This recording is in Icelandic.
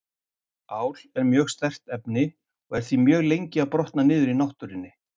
Ál er mjög sterkt efni og er því mjög lengi að brotna niður í náttúrunni.